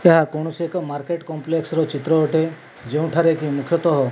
ଏହା କୌଣସି ଏକ ମାର୍କେଟ କମ୍ପ୍ଲେକ୍ସ ର ଚିତ୍ର ଅଟେ ଯେଉଁଠାରେ କି ମୁଖ୍ୟତଃ --